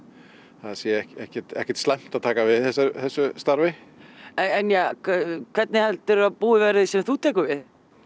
það sé ekkert ekkert slæmt að taka við þessu starfi en hvernig heldurðu að búið verði sem þú tekur við